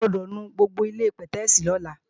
O gbọ́dọ̀ nu gbogbo ilé-pẹ̀tẹ́èsì lọ́la!